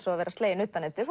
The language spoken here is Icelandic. og að vera slegin utanundir